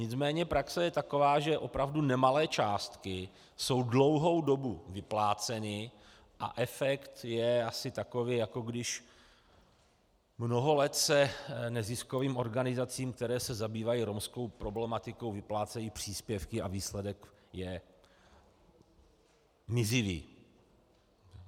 Nicméně praxe je taková, že opravdu nemalé částky jsou dlouhou dobu vypláceny a efekt je asi takový, jako když mnoho let se neziskovým organizacím, které se zabývají romskou problematikou, vyplácejí příspěvky a výsledek je mizivý...